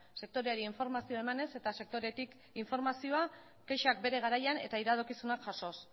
sektoreari informazioa emanez eta sektoretik informazioa kexak bere garaian eta iradokizunak jasoz